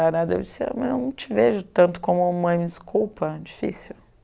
Eu disse, mas eu não te vejo tanto como mãe, desculpa, difícil.